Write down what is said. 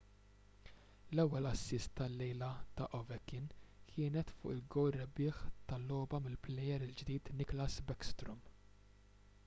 l-ewwel assist tal-lejla ta' ovechkin kienet fuq il-gowl rebbieħ tal-logħba mill-plejer il-ġdid nicklas backstrom